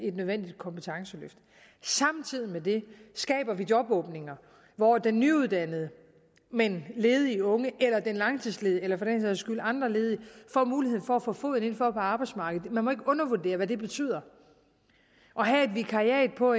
et nødvendigt kompetenceløft og samtidig med det skaber vi jobåbninger hvor den nyuddannede men ledige unge eller den langtidsledige eller for den sags skyld andre ledige får muligheden for at få foden indenfor på arbejdsmarkedet man må ikke undervurdere hvad det betyder at have et vikariat på